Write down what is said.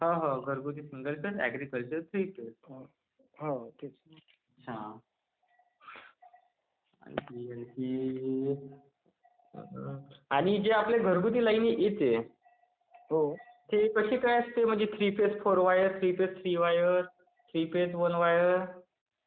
हो हो घरगुतीचे तेच असते...ऍग्रीकल्टरचे तेच राहाते......हम्म्म् Over lapping आणि जे आपले घरगुतीला लाइन येते ती कसे काय असते म्हणजे.थ्री phase four wire...... three phase three wire three phase one wire...